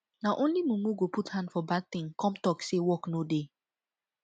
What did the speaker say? na only mumu go put hand for bad thing come talk say work no dey